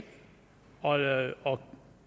og lave og